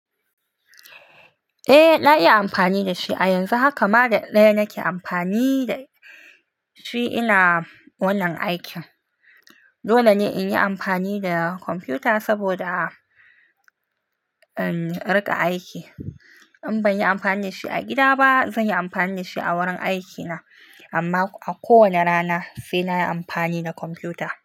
Eh, na iya amfani da shi a yanzu. Haka ma daɗa nake amfani da shi ina wannan aikin. Dole ne in yi amfani da kwamfuta saboda, em, in riƙa aiki. In ban yi amfani da shi a gida ba, zan yi amfani da shi a wurin aikina. Amma a kowane rana sai na yi amfani da kwamfuta.